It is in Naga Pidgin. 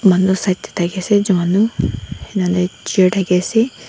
manu side te thaki ase juanu anna lai chair thaki ase.